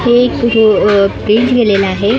हे एक अ अ गेलेलं आहे आणि --